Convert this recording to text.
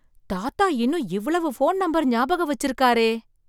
தாத்தா இன்னும் இவ்வளவு போன் நம்பர் ஞாபகம் வச்சு இருக்காரே!